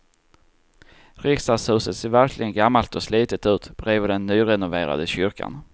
Riksdagshuset ser verkligen gammalt och slitet ut bredvid den nyrenoverade kyrkan.